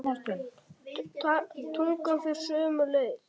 Tungan fer sömu leið.